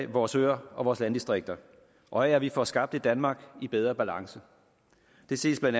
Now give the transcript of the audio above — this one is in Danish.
vores øer og vores landdistrikter og af at vi får skabt et danmark i bedre balance det ses bla